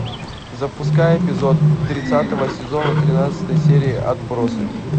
запускай эпизод тридцатого сезона тринадцатой серии отбросы